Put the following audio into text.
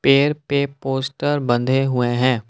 पेड़ पे पोस्टर बंधे हुए हैं।